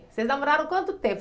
Vocês namoraram quanto tempo?